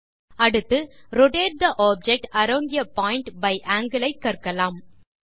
அடுத்து rotate the object around a point by angle ஐ கற்கலாம்